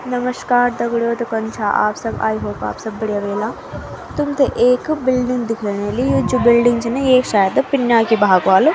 नमश्कार दगडियों तो कन छा आप सब आई होप आप सब बढ़िया ह्वेला तुम्थे एक बिल्डिंग दिखेण ह्वेली जू बिल्डिंग च न येक शायद पिन्या की भाग वालो।